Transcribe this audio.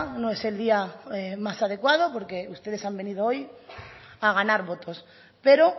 no es el día más adecuado porque ustedes han venido hoy a ganar votos pero